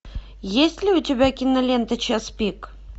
есть ли у тебя кинолента час пик